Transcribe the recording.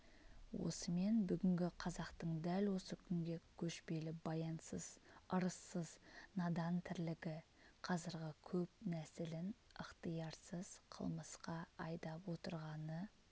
осымен бүгінгі қазақтың дәл осы күнгі көшпелі баянсыз ырыссыз надан тірлігі қазіргі көп нәсілін ықтиярсыз қылмысқа айдап отырғаны